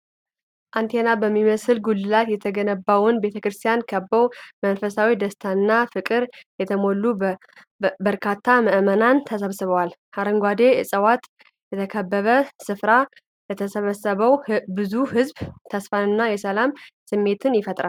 አንቴና በሚመስል ጉልላት የተገነባውን ቤተክርስቲያን ከበው በመንፈሳዊ ደስታና ፍቅር የተሞሉ በርካታ ምዕመናን ተሰብስበዋል። በአረንጓዴ ዕፅዋት የተከበበው ስፍራ ለተሰበሰበው ብዙ ሕዝብ የተስፋና የሰላም ስሜት ይሰጣል።